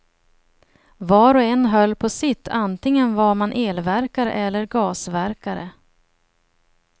Var och en höll på sitt, antingen var man elverkare eller gasverkare.